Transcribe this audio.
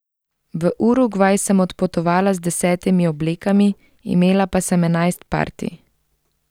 V Urugvaj sem odpotovala z desetimi oblekami, imela pa sem enajst partij.